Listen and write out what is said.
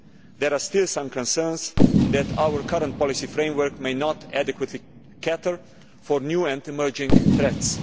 There are still some concerns that our current policy framework may not adequately cater for new and emerging threats.